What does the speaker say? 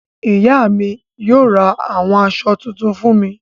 Ìyá mi yóò ra àwọn aṣọ tuntun fún mi.